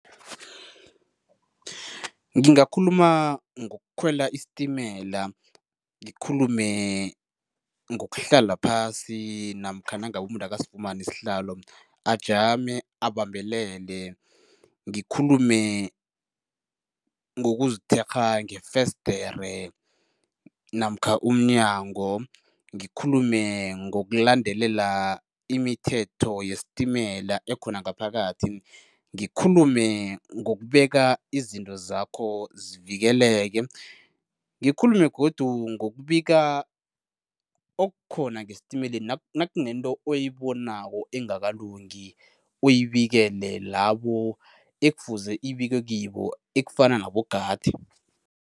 Ngingakhuluma ngokukhwela isitimela, ngikhulume ngokuhlala phasi namkha nangabe umuntu akasifumani isihlalo ajame abambelele, ngikhulume ngokuzithekgha ngefesidere namkha umnyango, ngikhulume ngokulandelela imithetho yesitimela ekhona ngaphakathi, ngikhulume ngokubeka izinto zakho zivikeleke, ngikhulume godu ngokubika okukhona ngesitimeleni nakunento oyibonako engakalungi, uyibikele labo ekufuze ibikwe kibo ekufana nabogadi.